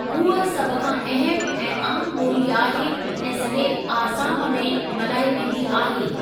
हूअ सभ खां अहमु ऐं आमु ॿोली आहे ऐं सॼे आसाम में मल्हाई वेंदी आहे।